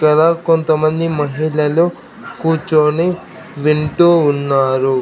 ఇక్కడ కొంతమంది మహిళలు కూర్చొని వింటూ ఉన్నారు.